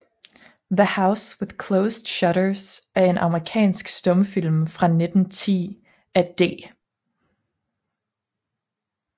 The House with Closed Shutters er en amerikansk stumfilm fra 1910 af D